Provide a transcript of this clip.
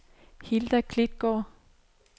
Hilda Klitgaard